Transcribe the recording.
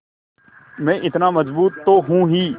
मैं इतना मज़बूत तो हूँ ही